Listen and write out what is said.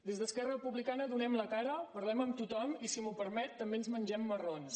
des d’esquerra republicana donem la cara parlem amb tothom i si m’ho permet també ens mengem marrons